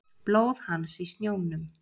Blóð hans í snjónum.